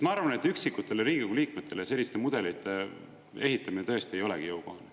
Ma arvan, et üksikutele Riigikogu liikmetele selliste mudelite ehitamine tõesti ei olegi jõukohane.